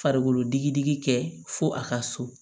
Farikolo digi digi kɛ fo a ka so